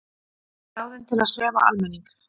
Ráðin til að sefa almenning